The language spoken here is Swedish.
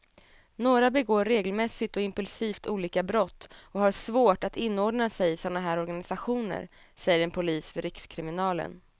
Några begår regelmässigt och impulsivt olika brott och har svårt att inordna sig i såna här organisationer, säger en polis vid rikskriminalen.